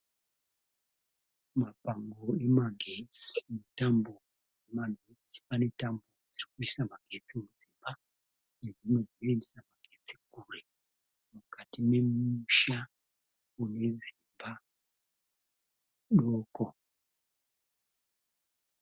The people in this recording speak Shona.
Mapango emagetsi netambo dzemagetsi pane tambo dzirikuisa magetsi mudzimba nedzimwe dzinoendesa magetsi kure. Mukati memisha munedzimba doko.